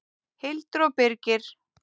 Hildur og Birgir.